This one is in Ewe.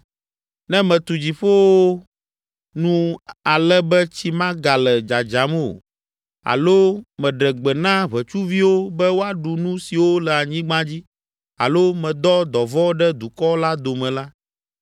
“Ne metu dziƒowo nu ale be tsi megale dzadzam o alo meɖe gbe na ʋetsuviwo be woaɖu nu siwo le anyigba dzi alo medɔ dɔvɔ̃ ɖe dukɔ la dome la,